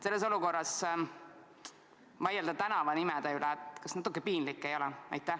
Sellises olukorras vaielda tänavanimede üle – kas natuke piinlik ei ole?